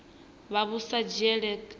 vha vhu sa dzhielwi nha